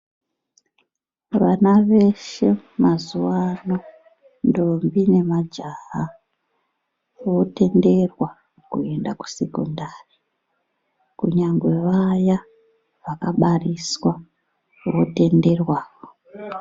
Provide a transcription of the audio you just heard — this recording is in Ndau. Vana veshe mazuwaano, ndombi, nemajaha, votenderwa kuenda kusekondari, kunyangwe vaya vakabariswa zvinotenderwa.